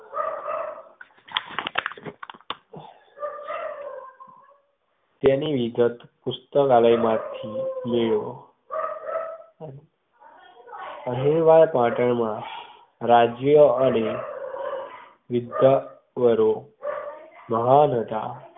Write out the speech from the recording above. તેની વિગત પુસ્તકાલય માથી મેળવો. અહીલવાડ પાટણ મા રાજ્ય અને વિદ્યાવારો મહાન હતા